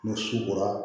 Ni su kora